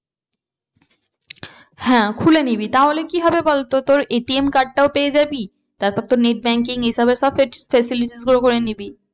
হ্যাঁ খুলে নিবি তাহলে কি হবে বলতো তোর ATM card টাও পেয়ে যাবি তারপর তোর net banking এসবের সব facilities গুলো করে নিবি।